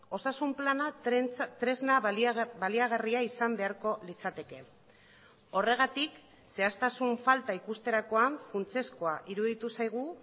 osasun plana tresna baliagarria izan beharko litzateke horregatik zehaztasun falta ikusterakoan funtsezkoa iruditu zaigu